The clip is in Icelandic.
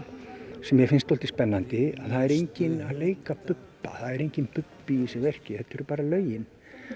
sem mér finnst svolítið spennandi að það er enginn að leika Bubba það er enginn Bubbi í þessu verki þetta eru bara lögin